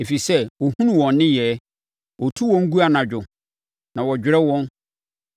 Ɛfiri sɛ ɔhunu wɔn nneyɛeɛ, ɔtu wɔn gu anadwo na wɔdwerɛ wɔn.